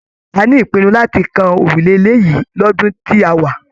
A ní ìpinnu láti kàn òrùlé ilé yìí l'ọdun tí a wá.